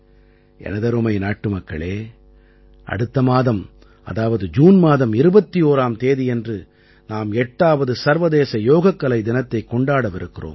எனதருமை நாட்டுமக்களே அடுத்த மாதம் அதாவது ஜூன் மாதம் 21ஆம் தேதியன்று நாம் 8ஆவது சர்வதேச யோகக்கலை தினத்தைக் கொண்டாடவிருக்கிறோம்